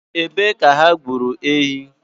Ebe ka ha gburu ehi?